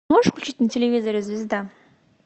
можешь включить на телевизоре звезда